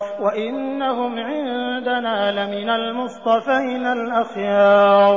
وَإِنَّهُمْ عِندَنَا لَمِنَ الْمُصْطَفَيْنَ الْأَخْيَارِ